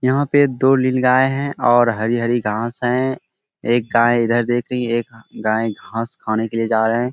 यहाँ पे दो नीलगाय है और हरी-हरी घास है एक गाय इधर देख रही है एक गाय घास खाने के लिए जा रही है।